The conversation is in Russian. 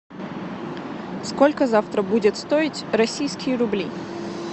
сколько завтра будут стоить российские рубли